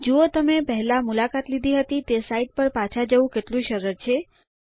જુઓ તમે પહેલા મુલાકાત લીધી હતી તે સાઇટ પર પાછા જવું કેટલું સરળ છે